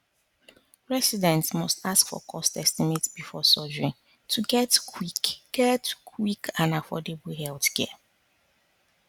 residents must ask for cost estimate before surgery to get quick get quick and affordable healthcare